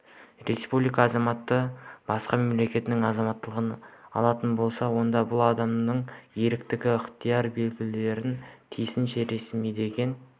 республика азаматы басқа мемлекеттің азаматтығын алатын болса онда бұл адамның ерікті ықтияр білдіруін тиісінше ресімдеген